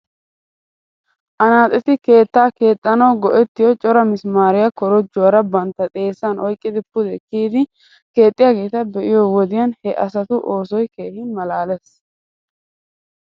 Anaaxeti keetta keexxanaw go'ettiyo cora mismaariyaa korojuwaara bantta xeesan oyqqidi pude kiydi keexxiyaageeta be'iyoo wodiyan he asatu oosoy keehi malaales